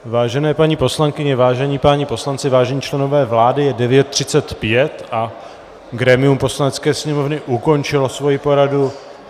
Vážené paní poslankyně, vážení páni poslanci, vážení členové vlády, je 9.35 a grémium Poslanecké sněmovny ukončilo svoji poradu.